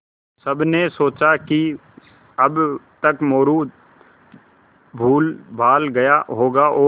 सबने सोचा कि अब तक मोरू भूलभाल गया होगा और